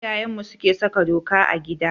Iyayenmu suke saka doka a gida.